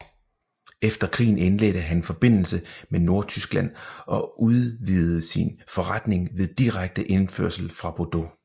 Efter krigen indledte han forbindelse med Nordtyskland og udvidede sin vinforretning ved direkte indførsel fra Bordeaux